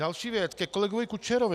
Další věc ke kolegovi Kučerovi.